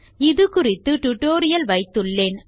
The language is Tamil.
இது குறித்து டியூட்டோரியல் வைத்துள்ளேன்